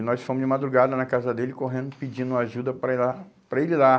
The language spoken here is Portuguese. E nós fomos de madrugada na casa dele, correndo, pedindo ajuda para ir lá, para ele ir lá.